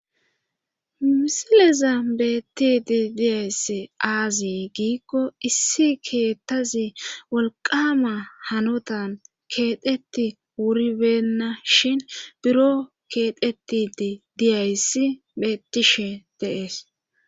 misileza beettidi diyaysss aazi giikko issi keettazi wolqama hanotan keeteti wuribeenna shin biro keexetii diyayssi bettishe deees